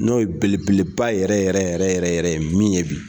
N'o ye belebeleba yɛrɛ yɛrɛ yɛrɛ yɛrɛ yɛrɛ ye min ye bi